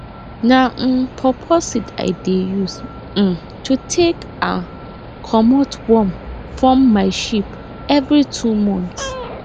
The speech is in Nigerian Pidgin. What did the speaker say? na um paw paw seed i dey use um to take um comot worm form my sheep every two months